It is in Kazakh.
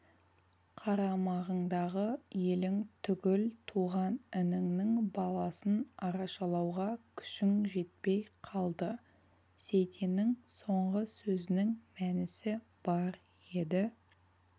қарамағыңдағы елің түгіл туған ініңнің баласын арашалауға күшің жетпей қалды сейтеннің соңғы сөзінің мәнісі бар еді